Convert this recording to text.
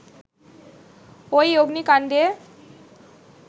ঐ অগ্নিকাণ্ডে